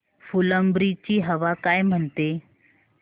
फुलंब्री ची हवा काय म्हणते